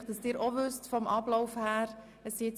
Ich werde Ihnen kurz den Ablauf erklären: